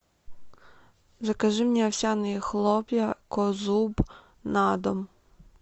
закажи мне овсяные хлопья козуб на дом